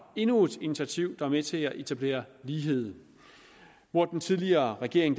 endnu et initiativ der er med til at etablere lighed hvor den tidligere regering